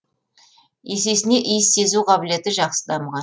есесіне иіс сезу қабілеті жақсы дамыған